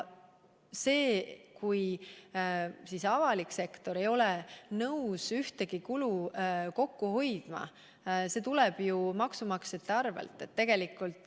Kui avalik sektor ei ole nõus ühtegi kulu kokku hoidma, siis see tuleb ju maksumaksjate arvel.